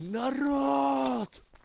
народ